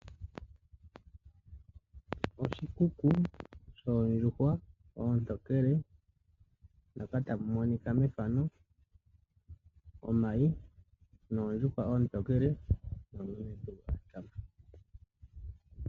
Oshikuku shoondjuhwa otokele moka tamumonika methano omayi noondjuhwa otokele nomuntu.